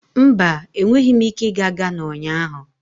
Mba, enweghị m ike ịga Ghana ụnyahụ.